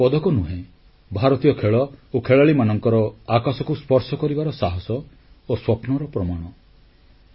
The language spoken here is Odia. ଏହା କେବଳ ପଦକ ନୁହେଁ ଭାରତୀୟ ଖେଳ ଓ ଖେଳାଳିମାନଙ୍କର ଆକାଶକୁ ସ୍ପର୍ଶ କରିବାର ସାହସ ଓ ସ୍ୱପ୍ନର ପ୍ରମାଣ